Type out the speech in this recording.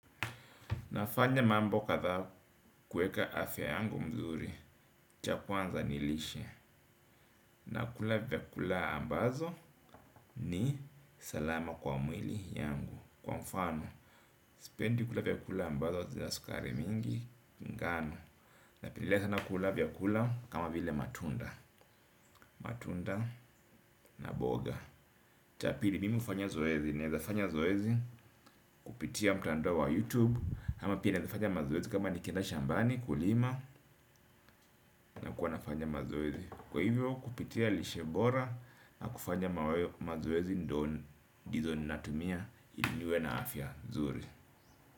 Nafanya mambo kadha kueka afya yangu mzuri cha kwanza nilishe nakula vyakula ambazo ni salama kwa mwili yangu kwa mfano spendi kula vyakula ambazo zina sukari mingi ngano napendelea sana kula vyakula kama vile matunda matunda na mboga mimi hufanya zoezi kupitia mtandao wa YouTube ama pia naezafanya mazoezi kama nikienda shambani kulima. Na kuwa nafanya mazeezi. Kwa hivyo kupitia lishe bora na kufanya mazoezi ndizo natumia ili niwe na afya nzuri.